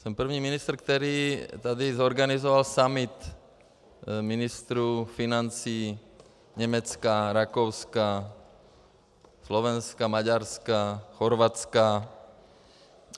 Jsem první ministr, který tady zorganizoval summit ministrů financí Německa, Rakouska, Slovenska, Maďarska, Chorvatska.